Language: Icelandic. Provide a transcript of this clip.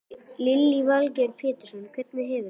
Lillý Valgerður Pétursdóttir: Hvernig hefurðu það?